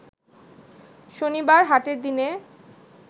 শনিবার হাটের দিনে